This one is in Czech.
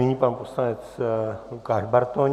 Nyní pan poslanec Lukáš Bartoň.